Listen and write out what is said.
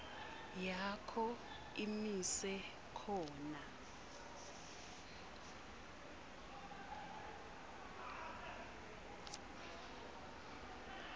yakho imise khona